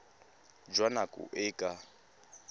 jwa nako e e ka